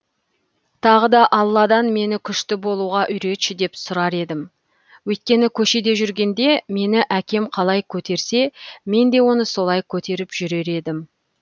тағы да алладан мені күшті болуға үйретші деп сұрар едім өйткені көшеде жүргенде мені әкем қалай көтерсе мен де оны солай көтеріп жүрер едім